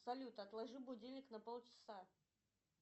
салют отложи будильник на полчаса